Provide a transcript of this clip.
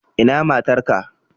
Ina matar ka?